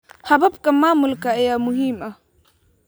Hababka maamulka ayaa muhiim ah.